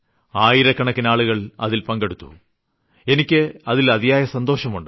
ആയിരക്കണക്കിനാളുകൾ അതിൽ പങ്കെടുത്തു എന്നതിൽ എനിയ്ക്ക് അതിയായ സന്തോഷമുണ്ട്